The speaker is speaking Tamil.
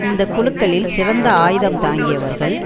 இந்த குழுக்களில் சிறந்த ஆயுதம் தாங்கியவர்கள்